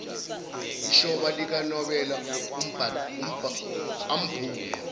ishoba likanobela ambhule